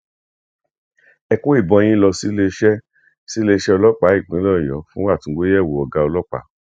ẹ kó ìbọn yín lọ síléeṣẹ síléeṣẹ ọlọpàá ìpínlẹ ọyọ fún àtúngbẹyẹwò ọgá ọlọpàá